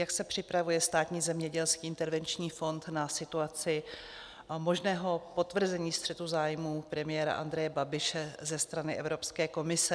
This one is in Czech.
Jak se připravuje Státní zemědělský intervenční fond na situaci možného potvrzení střetu zájmů premiéra Andreje Babiše ze strany Evropské komise?